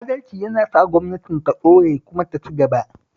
Adalci yana sa gwamnatin ta ɗore kuma ta ci gaba